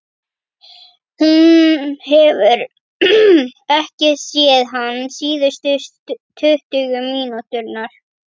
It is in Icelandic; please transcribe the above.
Hún hefur ekki séð hann síðustu tuttugu mínúturnar.